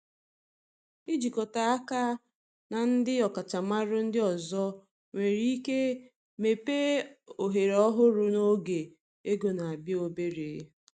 Ịjikọta aka na ndị ọkachamara ndị ọzọ nwere ike mepee ohere ọhụrụ n’oge ego na-abịa obere.